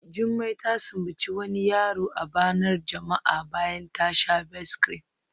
Jumai ta sumbaci wani yaro a bainar jama'a bayan ya sha Best-cream